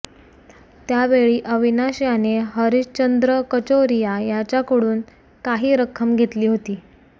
त्यावेळी अविनाश याने हरिशचंद्र कचोरीया याच्याकडून काही रक्कम घेतली होती